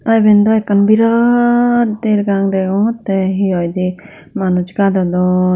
aa eben daw ekkan berat dergang degongottey he hoidey manus gadodon.